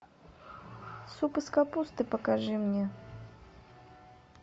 суп из капусты покажи мне